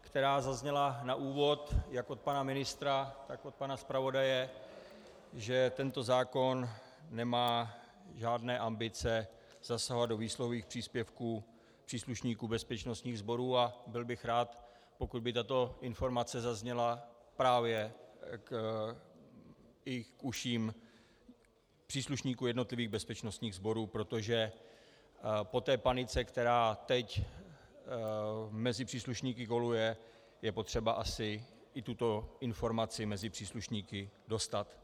která zazněla na úvod jak od pana ministra, tak od pana zpravodaje, že tento zákon nemá žádné ambice zasahovat do výsluhových příspěvků příslušníků bezpečnostních sborů, a byl bych rád, pokud by tato informace zazněla právě i k uším příslušníků jednotlivých bezpečnostních sborů, protože po té panice, která teď mezi příslušníky koluje, je potřeba asi i tuto informaci mezi příslušníky dostat.